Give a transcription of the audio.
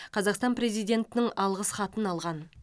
қазақстан президентінің алғыс хатын алған